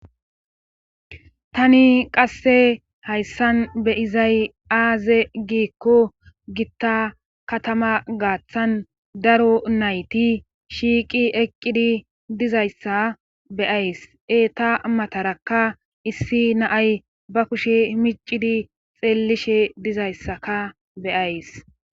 Tani qasse hayssan beyizay aaze giikko gitta katama gaaththan daro nayti shiiqi eqqidi dizayssa beyays e ta matarakka issi naay ba kushe micidi xeellishe dizayssaka beyays.